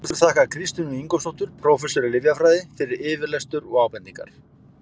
Höfundur þakkar Kristínu Ingólfsdóttur, prófessor í lyfjafræði, fyrir yfirlestur og ábendingar.